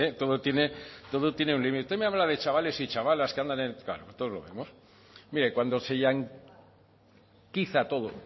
todo tiene todo tiene un límite usted me habla de chavales y chavalas que andan claro todos lo vemos mire cuando se yanquiza todo